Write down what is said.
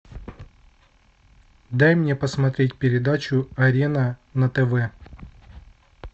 дай мне посмотреть передачу арена на тв